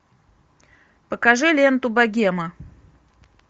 покажи ленту богема